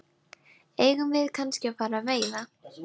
Eigum við kannski að fara að veiða?